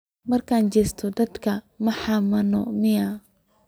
Marka jesatey dadka maa xamanin miyaa.